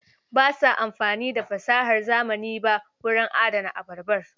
Ba sa amfani da fasahar zamani ba wurin adana abarbar.